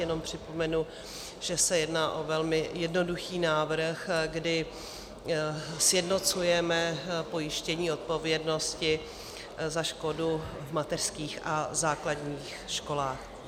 Jenom připomenu, že se jedná o velmi jednoduchý návrh, kdy sjednocujeme pojištění odpovědnosti za škodu v mateřských a základních školách.